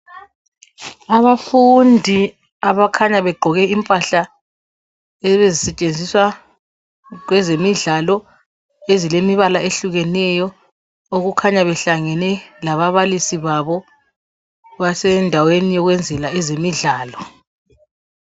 Abafundi abakhanya begqoke impahla lezi ezisetshenziswa kwezemidlalo ezilemibala ehlukeneyo okukhanya behlangene lababalisi babo basendaweni yokwenzela ezemidlalo.